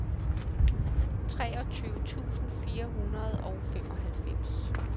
treogtyve tusind fire hundrede og femoghalvfems